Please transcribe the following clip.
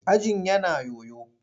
Ajin yana yoyo.